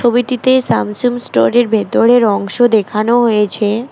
ছবিটিতে স্যামসং স্টোরের ভেতরের অংশ দেখানো হয়েছে।